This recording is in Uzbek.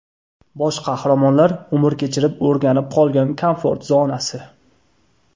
Bosh qahramonlar umr kechirib o‘rganib qolgan komfort zonasi.